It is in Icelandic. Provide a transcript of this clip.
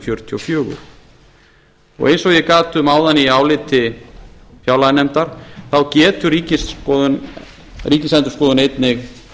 fjörutíu og fjögur eins og ég gat um áðan í áliti fjárlaganefndar þá getur ríkisendurskoðun einnig